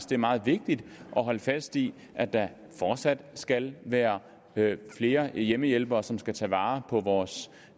det er meget vigtigt at holde fast i at der fortsat skal være flere hjemmehjælpere som skal tage vare på vores